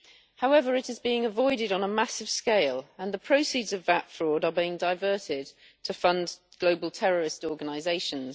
However, it is being avoided on a massive scale and the proceeds of VAT fraud are being diverted to fund global terrorist organisations.